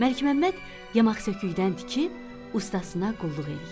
Məlik Məmməd yamaq sökükdən tikib ustasına qulluq eləyirdi.